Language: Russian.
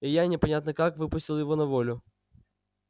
и я непонятно как выпустил его на волю